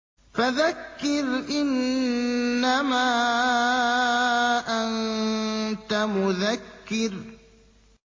فَذَكِّرْ إِنَّمَا أَنتَ مُذَكِّرٌ